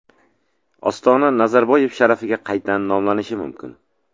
Ostona Nazarboyev sharafiga qayta nomlanishi mumkin.